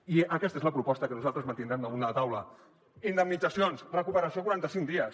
i aquesta és la proposta que nosaltres mantindrem damunt la taula indemnitzacions recuperació a quaranta cinc dies